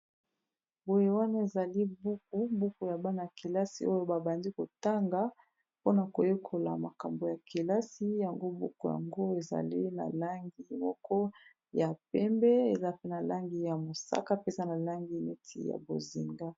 boye wane ezali buku buku ya bana -kelasi oyo babandi kotanga mpona koyekola makambo ya kelasi yango buku yango ezali na langi moko ya pembe eza pe na langi ya mosaka mpeza na langi neti ya bozinda